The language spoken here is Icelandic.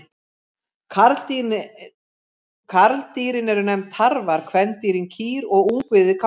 Karldýrin eru nefnd tarfar, kvendýrin kýr og ungviðið kálfar.